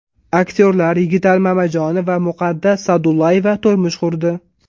Aktyorlar Yigitali Mamajonov va Muqaddas Sa’dullayeva turmush qurdi .